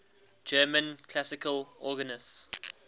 german classical organists